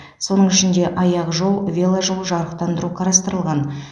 соның ішінде аяқжол веложол жарықтандыру қарастырылған